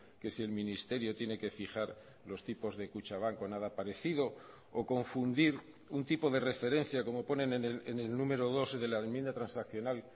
que si el ministerio tiene que fijar los tipos de kutxabank con nada parecido o confundir un tipo de referencia como ponen en el número dos de la enmienda transaccional